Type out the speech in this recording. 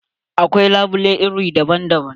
Akwai labule iri daban daban.